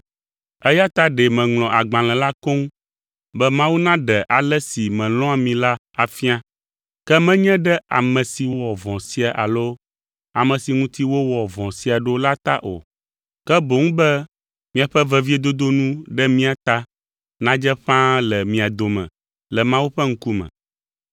Eya ta ɖe meŋlɔ agbalẽ la koŋ be Mawu naɖe ale si melɔ̃a mi la afia, ke menye ɖe ame si wɔ vɔ̃ sia alo ame si ŋuti wowɔ vɔ̃ sia ɖo la ta o, ke boŋ be miaƒe veviedodo nu ɖe mía ta nadze ƒãa le mia dome le Mawu ƒe ŋkume.